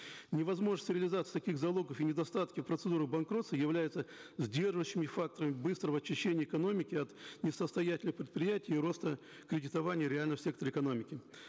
невозможность реализации таких залогов и недостатки процедуры банкротства являются сдерживающими факторами быстрого очищения экономики от несостоятельных предприятий и роста кредитования в реальном секторе экономики